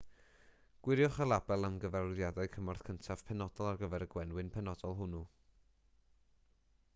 gwiriwch y label am gyfarwyddiadau cymorth cyntaf penodol ar gyfer y gwenwyn penodol hwnnw